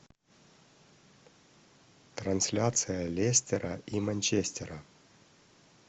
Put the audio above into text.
трансляция лестера и манчестера